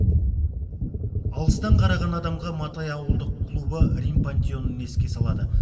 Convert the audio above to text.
алыстан қараған адамға матай ауылдық клубы рим пантеонын еске салады